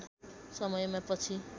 समयमा पछि